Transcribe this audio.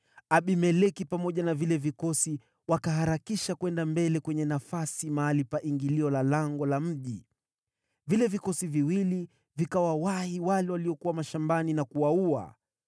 Abimeleki pamoja na vile vikosi wakaharakisha kwenda mbele kwenye nafasi, mahali pa ingilio la lango la mji. Vile vikosi viwili vikawawahi wale waliokuwa mashambani na kuwaua.